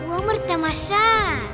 өмір тамаша